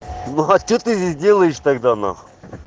ну а что ты здесь делаешь тогда нахуй